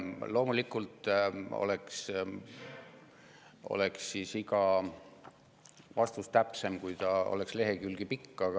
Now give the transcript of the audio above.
Loomulikult oleks vastus täpsem, kui ta oleks lehekülgi pikk.